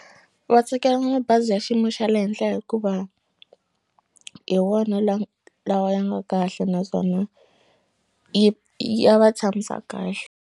Va tsakela mabazi ya xiyimo xa le henhla hikuva hi wona lawa ya nga kahle naswona yi ya va tshamisa kahle.